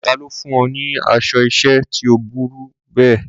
Ta ló fún ọ ní aṣọ ìṣẹ́ tí ó burú bẹ́ẹ̀?